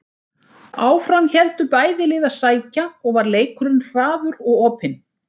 Áfram héldu bæði lið að sækja og var leikurinn hraður og opinn.